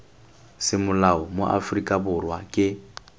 semolao mo aforika borwa ke